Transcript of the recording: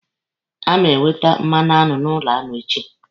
A ma ewete mmanụaṅụ n'ụlọ aṅụ echi.